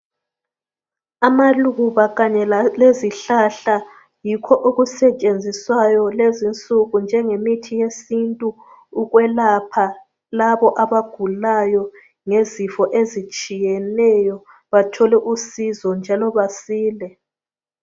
Amaluba kanye lezihlahla yikho okusetshenziswayo lezinsuku njengemithi yesintu ukwelapha labo abagulayo ngezifo ezitshiyeneyo bathole usizo njalo basile.